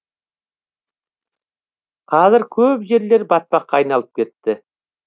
қазір көп жерлер батпаққа айналып кетті